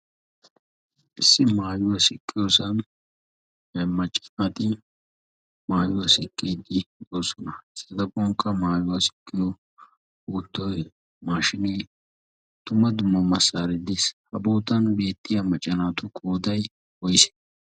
issi maayuwaa sikkiyoosan he maccanati maayuwaa siqqiitii xoosona sidaponkka maayuwaa siqqiyo uuttoi maashinii dumma dumma massaariddiis habootan beettiya maccanaatu koodai koyiis